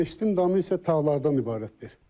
Məscidin damı isə tağlardan ibarətdir.